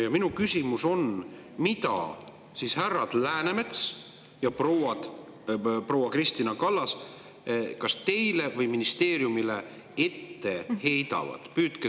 Ja minu küsimus on: mida siis härra Läänemets ja proua Kristina Kallas kas teile või ministeeriumile ette heidavad?